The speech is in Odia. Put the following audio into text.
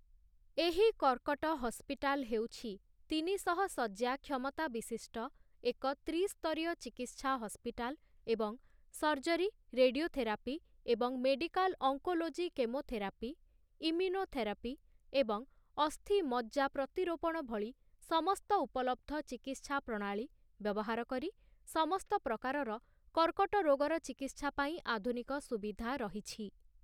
ଏହି କର୍କଟ ହସ୍ପିଟାଲ୍ ହେଉଛି ତିନିଶହ ଶଯ୍ୟା କ୍ଷମତା ବିଶିଷ୍ଟ ଏକ ତ୍ରିସ୍ତରୀୟ ଚିକିତ୍ସା ହସ୍ପିଟାଲ୍ ଏବଂ ସର୍ଜରୀ, ରେଡିଓଥେରାପି ଏବଂ ମେଡିକାଲ୍ ଅଙ୍କୋଲୋଜି କେମୋଥେରାପି, ଇମ୍ୟୁନୋଥେରାପି ଏବଂ ଅସ୍ଥି ମଜ୍ଜା ପ୍ରତିରୋପଣ ଭଳି ସମସ୍ତ ଉପଲବ୍ଧ ଚିକିତ୍ସା ପ୍ରଣାଳୀ ବ୍ୟବହାର କରି ସମସ୍ତ ପ୍ରକାରର କର୍କଟ ରୋଗର ଚିକିତ୍ସା ପାଇଁ ଆଧୁନିକ ସୁବିଧା ରହିଛି ।